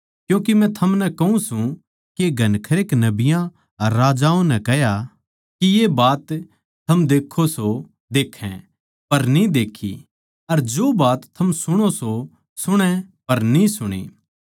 क्यूँके मै थमनै कहूँ सूं के घणखरे नबियाँ अर राजाओं नै चाह्या के जो बात थम देक्खो सो देक्खै पर न्ही देक्खी अर जो बात थम सुणो सो सुणै पर न्ही सुणी